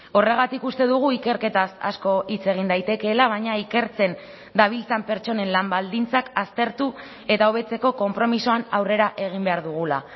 horregatik uste dugu ikerketaz asko hitz egin daitekeela baina ikertzen dabiltzan pertsonen lan baldintzak aztertu eta hobetzeko konpromisoan aurrera egin behar dugula